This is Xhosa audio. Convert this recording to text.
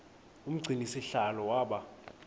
umgcini sihlalo waba